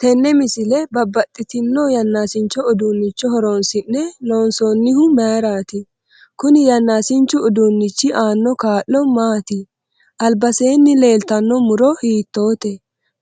Tenne misile babbaxitino yanaasincho uduunicho horoonsi'ne loonsoonihu mayiiraati kuni yanaasinchu uduunichi aano kaa'lo maaati albaseeni leeltanno muro hiitoote